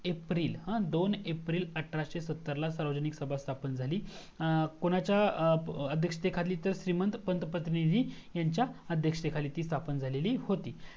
दोन एप्रिल अठराशे सत्तर ला सार्वजनिक सभा स्थापन झाली कोणाच्या अध्यायाक्षते खाली तर श्रीमंत पंतपटणी जी ह्यांच्या अध्यक्षते खाली ती स्थापन झालेली होती